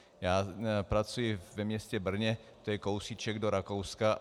Já pracuji ve městě Brně, to je kousíček do Rakouska.